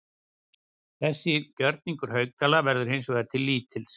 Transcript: Þessi gjörningur Haukdæla verður hins vegar til lítils.